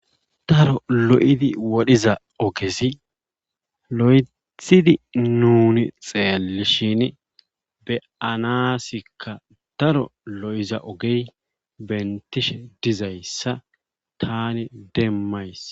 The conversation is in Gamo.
Daro lo7idi wodhiza ogezi loythidi nuunnu xeellishini be7anaasikka daro lo7iza ogey benttishe dizayssa taani demmays.